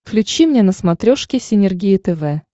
включи мне на смотрешке синергия тв